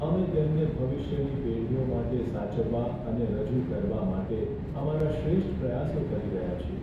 અમે તેમને ભવિષ્યની પેઢીઓ માટે સાચવવા અને રજૂ કરવા માટે અમારા શ્રેષ્ઠ પ્રયાસો કરી રહ્યાં છીએ.